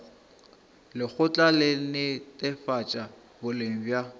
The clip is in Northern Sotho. lekgotla la netefatšo boleng bja